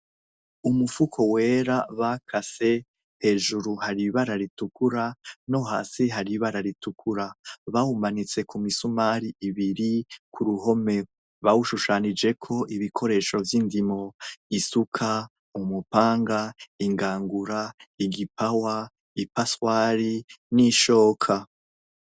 Umufuko wera bakase. hejuru hari ibara ritukura, nohasi hari ibara ritukura, bawumanitse kumisumari ibiri, kuruhome bawushushanijeko ibikoresho vy'indimo, isuka, umupanga, ingangura ,igipawa, ipaswari, n'ishoka.